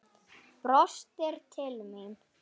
Brostir til mín.